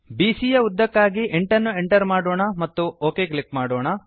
ಬಿಸಿಯ ಯ ಉದ್ದಕ್ಕಾಗಿ 8 ಅನ್ನು ಎಂಟರ್ ಮಾಡೋಣ ಮತ್ತು ಒಕ್ ಕ್ಲಿಕ್ ಮಾಡೋಣ